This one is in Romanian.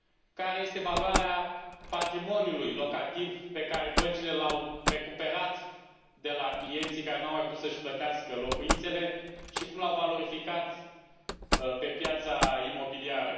Care este valoarea patrimoniului locativ pe care băncile l au recuperat de la clienții care nu au mai putut să își plătească locuințele și cum l au valorificat pe piața imobiliară?